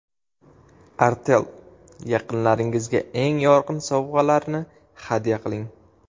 Artel: Yaqinlaringizga eng yorqin sovg‘alarni hadya qiling.